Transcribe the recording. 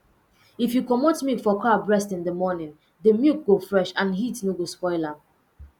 if you commot milk for cow breast in the morning the milk go fresh and heat no go spoil am